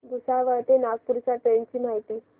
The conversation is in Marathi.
भुसावळ ते नागपूर च्या ट्रेन ची माहिती